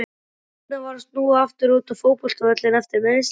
Hvernig var að snúa aftur út á fótboltavöllinn eftir meiðsli?